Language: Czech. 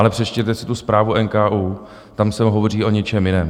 Ale přečtěte si tu zprávu NKÚ, tam se hovoří o něčem jiném.